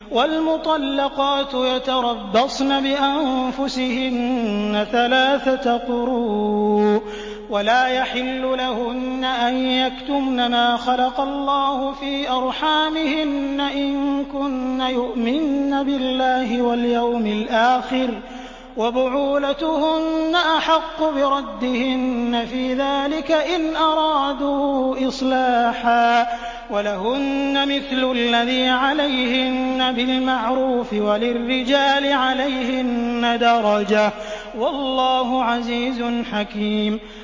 وَالْمُطَلَّقَاتُ يَتَرَبَّصْنَ بِأَنفُسِهِنَّ ثَلَاثَةَ قُرُوءٍ ۚ وَلَا يَحِلُّ لَهُنَّ أَن يَكْتُمْنَ مَا خَلَقَ اللَّهُ فِي أَرْحَامِهِنَّ إِن كُنَّ يُؤْمِنَّ بِاللَّهِ وَالْيَوْمِ الْآخِرِ ۚ وَبُعُولَتُهُنَّ أَحَقُّ بِرَدِّهِنَّ فِي ذَٰلِكَ إِنْ أَرَادُوا إِصْلَاحًا ۚ وَلَهُنَّ مِثْلُ الَّذِي عَلَيْهِنَّ بِالْمَعْرُوفِ ۚ وَلِلرِّجَالِ عَلَيْهِنَّ دَرَجَةٌ ۗ وَاللَّهُ عَزِيزٌ حَكِيمٌ